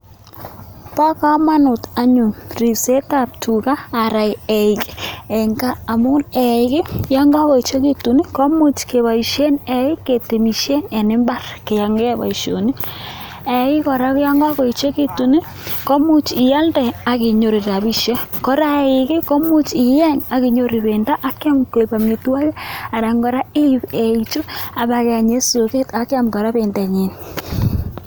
Bo kamanut anyun ripsetab tuga anan eik eng kap amu eik yan kakoechekitu komuch keboishen eik ketemishen eng imbar keyae boisionik. Eiik kora yan kakoechekitu komuch ialde ak inyoru rabiishek, kora eik komuch ieny ak inyoru bendo akiam koek amitwogik anan kora ip eikchu ak pakeeny eng soket ak kiam kora bendonyi.